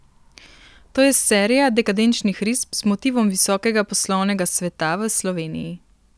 To je serija dekadenčnih risb z motivom visokega poslovnega sveta v Sloveniji.